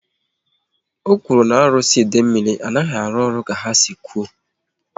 O kwuru na arụsị Idemili anaghị arụ ọrụ ka ha si kwụ